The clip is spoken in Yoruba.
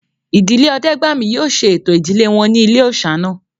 Ìdílé Ọdẹ́gbàmí yóò ṣe ẹ̀tọ́ ìdílé wọn ní ilé-òòsà náà